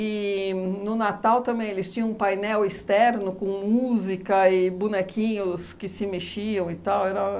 no Natal também eles tinham um painel externo com música e bonequinhos que se mexiam e tal. Era